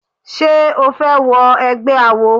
Ṣé o fẹ́ wọ egbẹ́ awo?